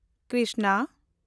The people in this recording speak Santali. ᱠᱨᱤᱥᱱᱟ